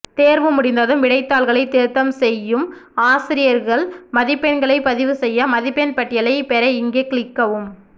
தேர்வு முடிந்ததும் விடைத்தாள்களை திருத்தம் செய்யும் ஆசிரயர்கள் மதிப்பெண்களைப் பதிவு செய்ய மதிப்பெண்பட்டியலைப் பெற இங்கே கிளிக்கவும்